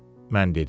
Mən dedim.